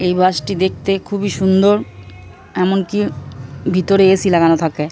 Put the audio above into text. এই বাস -টি দেখতে খুবই সুন্দর । এমনকি ভিতরে এ.সি লাগানো থাকে ।